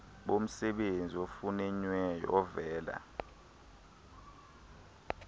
bomsebenzi ofunyenweyo ovela